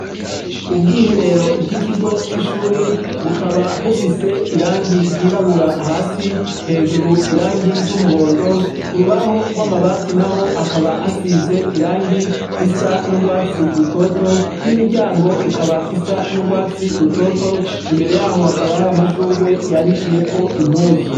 Ubwiherero bw’ikigo c’ishure bukaba bufise irangi ryirabura hasi, hejuru irangi ry’umuhondo, k’urubaho rw’amabati naho hakaba hasize irangi risa n’urwatsi rutoto n’imiryango ikaba isa n’urwatsi rutoto, imbere yaho hakaba hari amashugwe yanikiyeko impuzu.